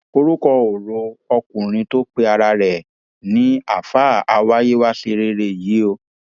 orúkọ kò ro ọkùnrin tó pe ara rẹ ara rẹ ní àáfàá àwáyéwáṣẹrẹ yìí o